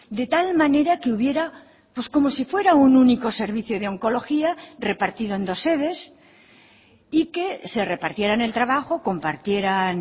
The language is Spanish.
de tal manera que hubiera pues como si fuera un único servicio de oncología repartido en dos sedes y que se repartieran el trabajo compartieran